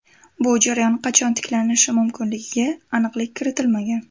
Bu jarayon qachon tiklanishi mumkinligiga aniqlik kiritilmagan.